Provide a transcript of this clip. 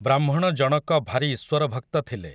ବ୍ରାହ୍ମଣ ଜଣକ ଭାରି ଈଶ୍ୱରଭକ୍ତ ଥିଲେ ।